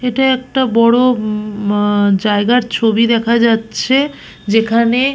এটা একটা বড় উম মা জায়গার ছবি দেখা যাচ্ছে যেখানে--